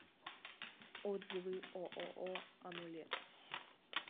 отзывы ооо амулет